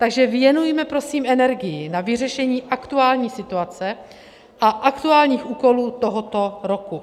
Takže věnujme prosím energii na vyřešení aktuální situace a aktuálních úkolů tohoto roku.